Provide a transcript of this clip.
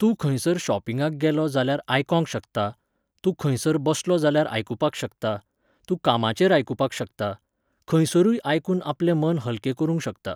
तूं खंयसर शॉपिंगाक गेलो जाल्यार आयकोंक शकता, तूं खंयसर बसलो जाल्यार आयकुपाक शकता, तूं कामाचेर आयकुपाक शकता, खंयसरूय आयकून आपलें मन हलकें करूंक शकता.